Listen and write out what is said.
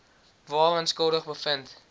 waaraan skuldig bevind